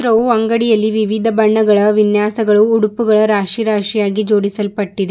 ಅವು ಅಂಗಡಿ ಅಲ್ಲಿ ವಿವಿಧ ಬಣ್ಣಗಳ ವಿನ್ಯಾಸಗಳು ಉಡುಪುಗಳು ರಾಶಿ ರಾಶಿಯಾಗಿ ಜೋಡಿಸಲ್ಪ್ತ್ತಿದೆ.